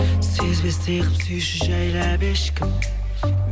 сезбестей қылып сүйші жайлап ешкім